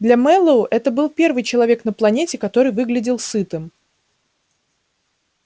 для мэллоу это был первый человек на планете который выглядел сытым